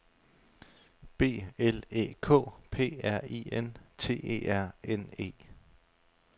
B L Æ K P R I N T E R N E